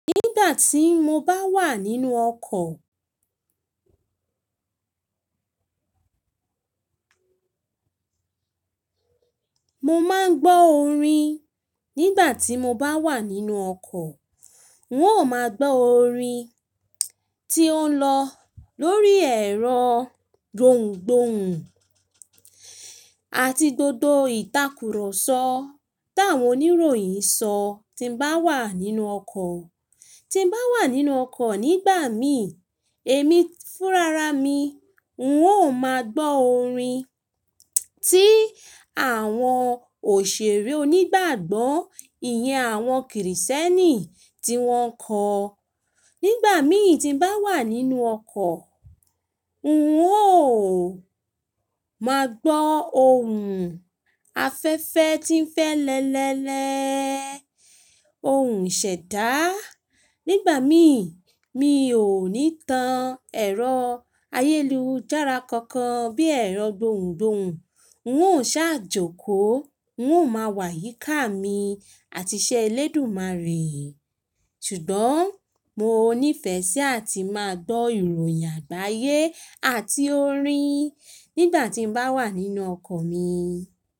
Nígbà tí mo bá wà nínú ọkọ̀, mo máa ń gbọ́ orin. Nígbà tí mo bá wà nínú ọkọ̀, n óò máa gbọ́ orin tí ó ń lọ lórí ẹ̀rọ gbohùngbohùn àti gbogbo ìtàkùrọ̀sọ táwọn oníròyìn ń sọ tí m bá wà nínú ọkọ̀. Tí m bá wà nínú ọkọ̀ nígbà mi, èmi fúnra ra mi, n óò máa gbọ́ orin tí àwọn òṣèré onígbàgbọ́ ìyẹn àwọn kìrìsìtẹ́nì tí wọ́n kọ̀. Nígbà mìí tí m bá wà nínú ọkọ̀, n óò máa gbọ́ ohùn afẹ́fẹ́ tí ń fẹ́lẹ́lẹ́lẹ́, ohùn ìṣẹ̀dá. Nígbà mìí, mi ò ní tan ẹ̀rọ ayélujára kankan bí i ẹ̀rọ gbohùngbohùn. N óò ṣàjòkò, n óò máa wà yíká mi àti iṣẹ́ elédùmarè. Ṣùgbọ́n mo níìfẹ̀ sí àti máa gbọ́ ìròyìn àgbáyé àti orin nígbà tí m bá wà nínú ọkọ̀ mi.